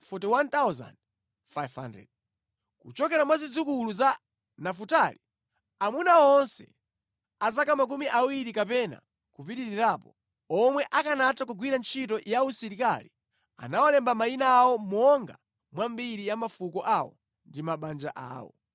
Kuchokera mwa zidzukulu za Nafutali: Aamuna onse a zaka makumi awiri kapena kupitirirapo, omwe akanatha kugwira ntchito ya usilikali anawalemba mayina awo monga mwa mbiri ya mafuko awo ndi mabanja awo.